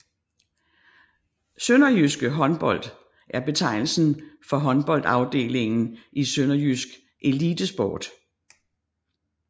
SønderjyskE Håndbold er betegnelsen for håndboldafdelingen i Sønderjysk Elitesport